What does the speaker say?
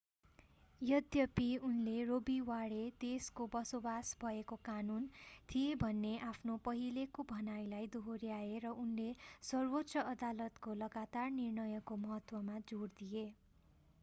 यद्यपि उनले Roe v Wade roe v wade देशको बसोबास भएको कानून” थिए भन्ने आफ्नो पहिलेको भनाइलाई दोहोर्‍याए र उनले सर्वोच्च अदालतको लगातार निर्णयको महत्त्वमा जोड दिए।